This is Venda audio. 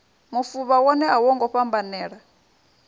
mufuvha wone a wongo fhambanela